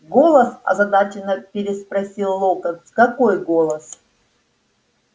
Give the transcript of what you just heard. голос озадаченно переспросил локонс какой голос